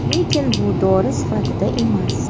Lekin bu dori sifatida emas.